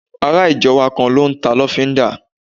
Ará ìjọ wa kan n ta lọ́fíndà